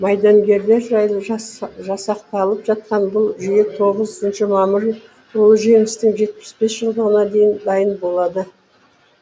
майдангерлер жайлы жасақталып жатқан бұл жүйе тоғызыншы мамыр ұлы жеңістің жетпіс бес жылдығына дейін дайын болады